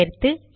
சேர்த்து